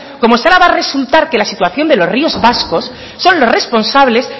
como si ahora va a resultar que la situación de los ríos vascos son los responsables